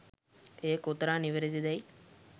එය කොතරම් නිවැරදි දැයි